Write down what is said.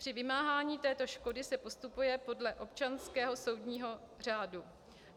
Při vymáhání této škody se postupuje podle občanského soudního řádu.